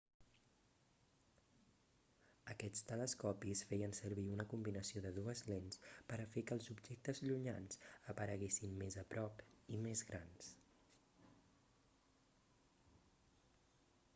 aquests telescopis feien servir una combinació de dues lents per a fer que els objectes llunyans apareguessin més a prop i més grans